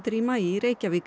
í maí í Reykjavík